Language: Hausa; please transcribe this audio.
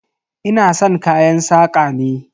Ina san kayan saƙa ne.